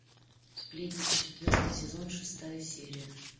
сплетница четвертый сезон шестая серия